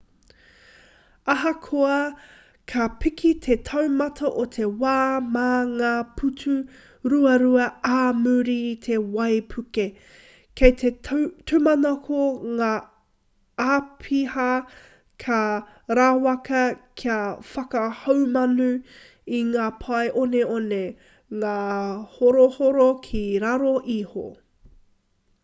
ahakoa ka piki te taumata o te wai mā ngā putu ruarua ā muri i te waipuke kei te tūmanako ngā āpiha ka rawaka kia whakahaumanu i ngā pae oneone ngāhorohoro ki raro iho